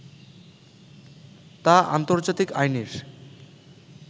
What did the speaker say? তা আন্তর্জাতিক আইনের